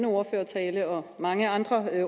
ordførertale og af mange andre